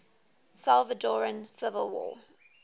salvadoran civil war